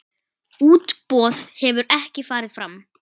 Útboð hefur ekki farið fram.